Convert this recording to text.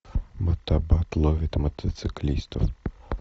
мотобат ловит мотоциклистов